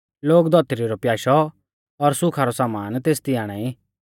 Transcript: लोग धौतरी रौ प्याशौ और सुखा रौ समान तेसदी आणाई